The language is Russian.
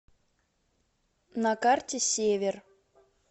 на карте север